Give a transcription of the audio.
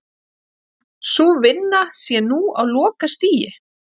Sú vinna sé nú á lokastigi